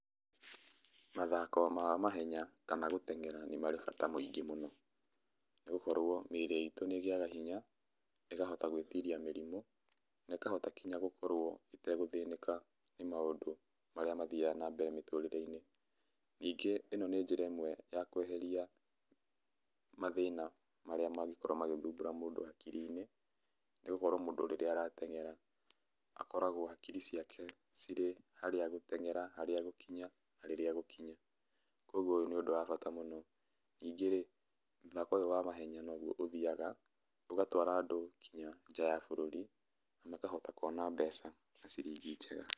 Mathako ma mahenya ta magũtengera nĩmarĩ bata mũingĩ mũno, nĩgũkorwo mĩrĩ itũ nĩrĩgĩaga hinya ĩkahota gwĩtiria mĩrimũ na ĩkahota nginya gũkorwo ĩtakũthĩnĩka nĩ maũndũ mathiaga na mbere mĩtũrĩreinĩ, ningĩ ĩno nĩ njĩra ĩmwe ya kweheria mathĩana mangikorwa magĩthumbũra mũndũ akirinĩ nĩgũkorwa rĩrĩa mũndũ aratengera akoragwo akiri ciake cirĩ ha gũtengera harĩa igũkinya na rĩrĩa egũkinya kwoguo nĩ ũndũ wa bata mũno, ningĩ rĩ mũthako ũyũ wa mahenya nouhwo ũthiaga ũgatwara andũ nginya nja ya bũrũri na akahota kwona mbeca na ciringi njega.